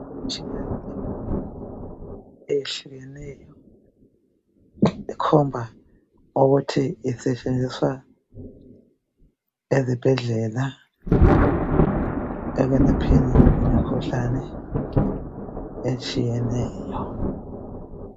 Imtshina emibili eyehlukeneyo ekhomba ukuthi isetshenziswa ezibhendlela ekwelapheni imikhuhlane etshiyeneyo